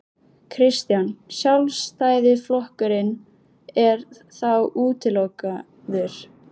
Kristján: Sjálfstæðisflokkurinn er þá útilokaður?